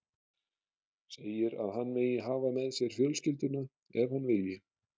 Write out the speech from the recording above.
Segir að hann megi hafa með sér fjölskylduna ef hann vilji.